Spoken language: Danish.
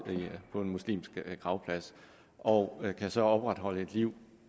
på en muslimsk gravplads og kan så opretholde et liv